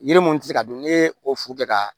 Yiri mun ti se ka dun n'i ye o furu kɛ ka